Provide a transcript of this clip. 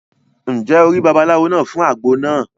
Ǹjẹ́ o rí babaláwo náà fún àgbo náà?